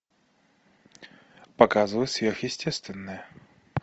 показывай сверхъестественное